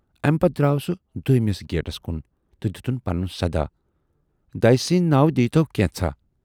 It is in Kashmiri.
اَمہِ پَتہٕ دراو سُہ دویمِس گیٹس کُن تہٕ دِتُن پَنُن صدا"دَیہِ سٕندۍ ناوٕ دیٖی تَو کینژھا"۔